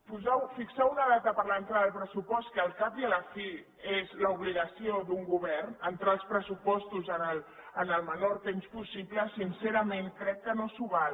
posar fixar una data per a l’entrada del pressupost que al cap i a la fi és l’obligació d’un govern entrar els pressupostos en el menor temps possible sincerament crec que no s’ho val